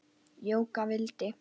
Jóka vildi.